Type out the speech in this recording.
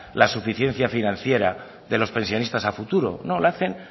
la suficiencia financiera de los pensionistas a futuro no la hacen